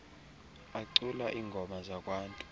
acula iingoma zakwantu